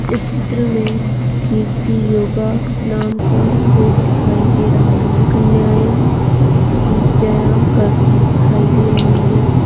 इस चित्र में कीर्ति योगा नाम का बोर्ड दिखाई दे रहा है कन्नियाएँ व्याम करती दिखाई दे रही हैं।